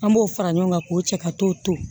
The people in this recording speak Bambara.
An b'o fara ɲɔgɔn kan k'o cɛ ka t'o to